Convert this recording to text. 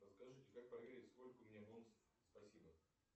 расскажи как проверить сколько у меня бонусов спасибо